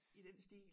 I den stil